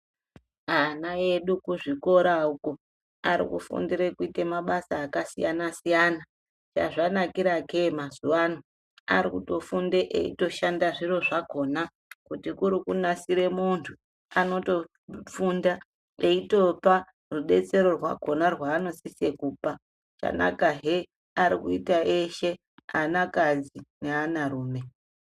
Ana edu kuzvikora uko, ari kufundire kuite mabasa akasiyana-siyana. Chazvanakira ke mazuwaano, ari kufunde eitoshanda zviro zvakhona ,kuti kuri kunasire muntu, anotofunda eitopa rudetsero rwakhona rwaanosise kupa. Zvanakahe ari kuita eshe ,anakadzi neaanarume.